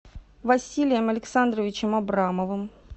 василием александровичем абрамовым